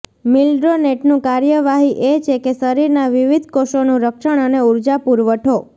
મિલ્ડ્રોનેટનું કાર્યવાહી એ છે કે શરીરના વિવિધ કોષોનું રક્ષણ અને ઊર્જા પુરવઠો